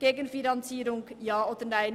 Gegenfinanzierung Ja oder Nein.